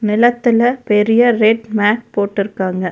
நெலத்துல பெரிய red mat போட்டுருக்காங்க.